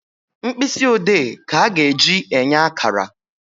Mkpịsị ode ka a ga-eji enye akara